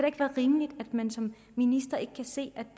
ikke være rimeligt at man som minister ikke kan se